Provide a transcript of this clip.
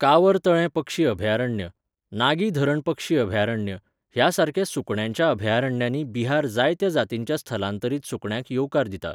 कांवर तळें पक्षी अभयारण्य, नागी धरण पक्षी अभयारण्य ह्या सारक्या सुकण्यांच्या अभयारण्यांनी बिहार जायत्या जातींच्या स्थलांतरीत सुकण्यांक येवकार दिता.